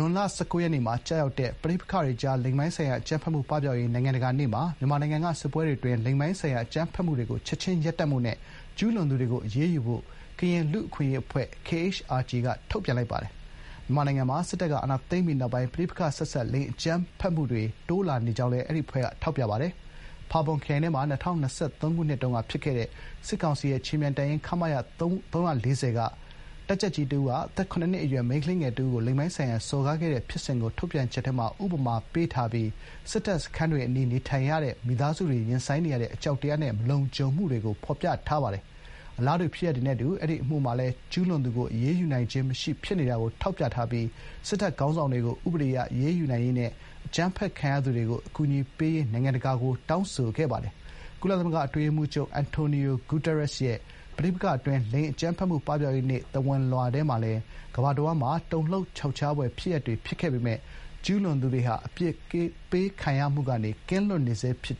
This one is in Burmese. ွန်လ (၁၉) ရက်နေ့မှာကျရောက်တဲ့ ပဋိပက္ခတွေကြား လိင်ပိုင်းဆိုင်ရာ အကြမ်းဖက်မှု ပပျောက်ရေး နိုင်ငံတကာနေ့မှာ မြန်မာနိုင်ငံက စစ်ပွဲတွေအတွင်း လိင်ပိုင်းဆိုင်ရာအကြမ်းဖက်မှုတွေကို ချက်ခြင်းရပ်တန့်ဖို့နဲ့ ကျူးလွန်သူတွေကိုအရေးယူဖို့ ကရင်လူ့အခွင့်အရေးအဖွဲ့ (KHRG) က ထုတ်ပြန်ပါတယ်။ မြန်မာနိုင်ငံမှာ ၂၀၂၁ ခုနှစ် စစ်တပ်ကအာဏာသိမ်းပြီးကတည်းက CRSV လို့ခေါ်တဲ့ ပဋိပက္ခနဲ့ဆက်စပ်နေတဲ့ လိင်အကြမ်းဖက်မှုတွေ တိုးပွားလာနေကြောင်းလည်း KHRG က ထောက်ပြပါတယ်။ ဖာပွန်ခရိုင်ထဲမှာ ၂၀၂၃ ခုနှစ်တုန်းက ဖြစ်ခဲ့တဲ့ စစ်ကောင်စီရဲ့ခြေမြန်တပ်ရင်း ခမရ ၃၄၀ က တပ်ကြပ်ကြီးတဦးက အသက် (၇) နှစ် အရွယ် မိန်းကလေးငယ်တဦးကို လိင်ပိုင်းဆိုင်ရာစော်ကားခဲ့တဲ့ဖြစ်စဥ်ကို ထုတ်ပြန်ချက်ထဲမှာ ဥပမာပေးထားပြီး စစ်တပ်စခန်းတွေ အနီး နေထိုင်နေရတဲ့ မိသားစုတွေ ရင်ဆိုင်နေရတဲ့ အကြောက်တရားနဲ့ မလုံခြုံမှုတွေကို ဖော်ပြထားပါတယ်။ အခြား အလားတူဖြစ်ရပ်တွေနဲ့အတူ အဲဒီအမှုမှာလည်း ကျူးလွန်သူကို အရေးယူနိုင်ခြင်းမရှိဖြစ်နေတာကို ထောက်ပြထားပြီး စစ်တပ်ခေါင်းဆောင်တွေကို တရားဥပဒေအရ အရေးယူနိုင်ရေးနဲ့ အကြမ်းဖက်ခံရသူတွေကို အကူအညီပေးရေး နိုင်ငံတကာကို တောင်းဆိုထားပါတယ်။ ပဋိပက္ခအတွင်း လိင်အကြမ်းဖက်မှု ပပျောက်ရေးနေ့ အထိမ်းအမှတ် ကုလသမဂ္ဂ အတွင်းရေးမှူးချုပ် အန်တိုနီယို ဂူတာရက်စ်ရဲ့ သဝဏ်လွှာထဲမှာလည်း မနှစ်က ကမ္ဘာတဝန်းမှာ တုန်လှုပ်ခြောက်ခြားဖွယ် ဖြစ်ရပ်တွေ ဖြစ်ခဲ့ပေမဲ့ ကျူးလွန်သူတွေဟာ အပြစ်ပေးခံရမှုကနေ ကင်းလွတ်နေဆဲဖြစ်